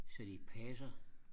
så de passer